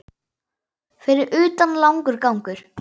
Fyrir utan langur gangur.